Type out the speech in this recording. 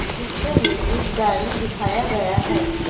चित्र में एक गाड़ी दिखाया गया है।